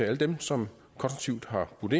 alle dem som har budt